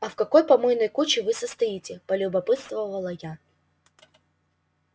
а в какой помойной куче вы состоите полюбопытствовала я